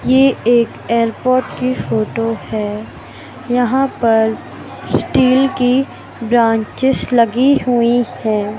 ये एक एयरपोर्ट की फोटो है यहां पर स्टील की ब्रांचेस लगी हुई है।